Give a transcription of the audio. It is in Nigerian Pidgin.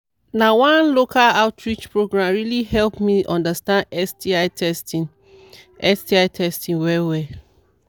na one local outreach program really help me understand sti testing sti testing well well